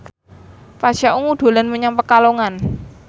Pasha Ungu dolan menyang Pekalongan